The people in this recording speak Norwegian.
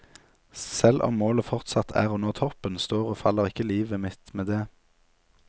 Selv om målet fortsatt er å nå toppen, står og faller ikke livet mitt med det.